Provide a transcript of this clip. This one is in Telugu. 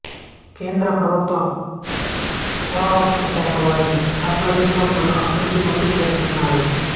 కేంద్ర ప్రభుత్వ పురాతత్వశాఖవారి ఆధ్వర్యంలో పలు అభివృద్ధి పనులు చేపట్టినారు